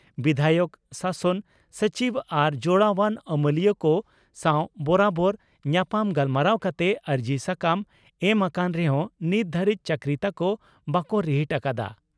ᱵᱤᱫᱷᱟᱭᱚᱠ ᱥᱟᱥᱚᱱ ᱥᱚᱪᱤᱵᱽ ᱟᱨ ᱡᱚᱲᱟᱣᱟᱱ ᱟᱹᱢᱟᱹᱞᱤᱭᱟᱹ ᱠᱚ ᱥᱟᱣ ᱵᱚᱨᱟᱵᱚᱨ ᱧᱟᱯᱟᱢ ᱜᱟᱞᱢᱟᱨᱟᱣ ᱠᱟᱛᱮ ᱟᱹᱨᱡᱤ ᱥᱟᱠᱟᱢ ᱮᱢ ᱟᱠᱟᱱ ᱨᱮᱦᱚᱸ ᱱᱤᱛ ᱫᱷᱟᱹᱨᱤᱡ ᱪᱟᱹᱠᱨᱤ ᱛᱟᱠᱚ ᱵᱟᱠᱚ ᱨᱤᱦᱤᱴ ᱟᱠᱟᱫᱼᱟ ᱾